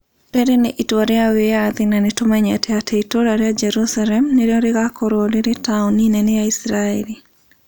"Rĩrĩ nĩ itua rĩa wĩyathi na nĩ tũmenyete atĩ itũũra rĩa Jerusalemu nĩrĩo rĩgaakorũo rĩrĩ taũni nene ya Isiraeli".